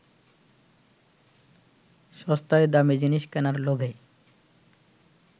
সস্তায় দামি জিনিস কেনার লোভে